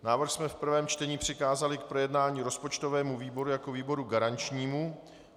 Návrh jsme v prvém čtení přikázali k projednání rozpočtovému výboru jako výboru garančnímu.